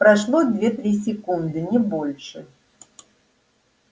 прошло две-три секунды не больше